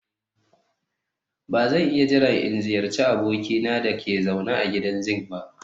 Ba zan iya jira in ziyarci abokina da ke zaune a gidan zinc ba